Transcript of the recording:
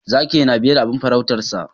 Zaki na biye da abin faruutarsa